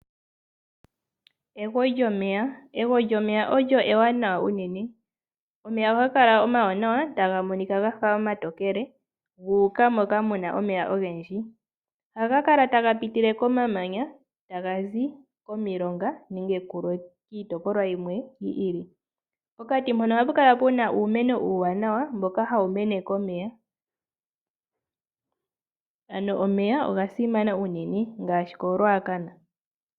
Egwo lyomeya Egwo lyomeya olyo ewanawa unene. Omeya ohaga kala omawanawa, taga monika ga fa omatokele, gu uka moka mu na omeya ogendji. Ohaga kala taga pitile komamanya, taga zi komilonga nenge kulwe kiitopolwa yimwe yi ili. Pokati mpono ohapu kala uumeno uuwanawa mboka hawu mene komeya. Ano omeya oga simana unene ngaashi koRuacana.